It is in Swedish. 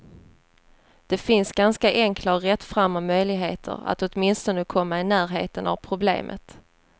Det finns ganska enkla och rättframma möjligheter att åtminstone komma i närheten av problemet.